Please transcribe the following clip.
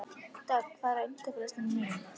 Dögg, hvað er á innkaupalistanum mínum?